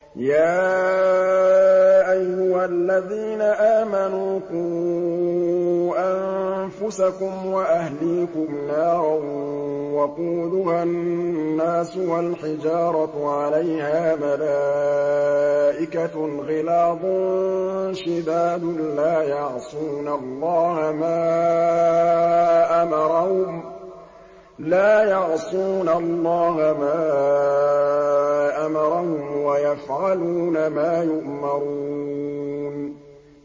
يَا أَيُّهَا الَّذِينَ آمَنُوا قُوا أَنفُسَكُمْ وَأَهْلِيكُمْ نَارًا وَقُودُهَا النَّاسُ وَالْحِجَارَةُ عَلَيْهَا مَلَائِكَةٌ غِلَاظٌ شِدَادٌ لَّا يَعْصُونَ اللَّهَ مَا أَمَرَهُمْ وَيَفْعَلُونَ مَا يُؤْمَرُونَ